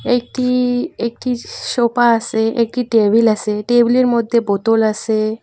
এটি একটি সোপা আসে একটি টেবিল আসে টেবিল -এর মধ্যে বোতল আসে।